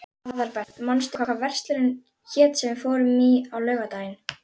Aðalbert, manstu hvað verslunin hét sem við fórum í á laugardaginn?